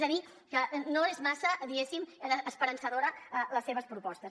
és a dir que no són massa diguéssim esperançadores les seves propostes